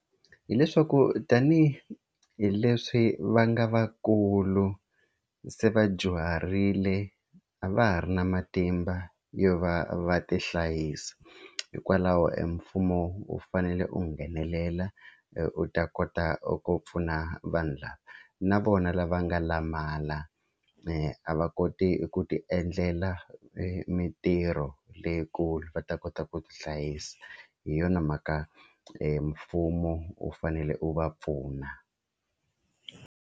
Hi leswaku tanihileswi va nga vakulu se va dyuharile a va ha ri na matimba yo va va ti hlayisa hikwalaho e mfumo wu fanele wu nghenelela u ta kota ku pfuna vanhu lava na vona lava nga lamala a va koti ku ti endlela mitirho leyikulu va ta kota ku tihlayisa hi yona mhaka mfumo wu fanele u va pfuna.